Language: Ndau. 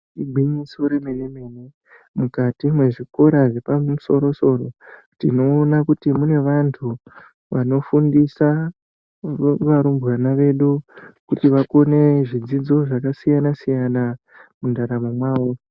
Igwinyiso remene-mene mukati mwezvikora zvepamusoro soro tinoona kuti mune vantu vanofundisa varumbwana vedu kuti vakone zvidzidzo zvakasiyana-siyana mundaramo mwawo.